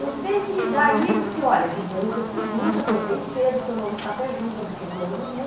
Eu sei que daí ele disse, olha filhinha, no dia seguinte, acordei cedo, tomamos café junto, eu vi que ele não dormiu.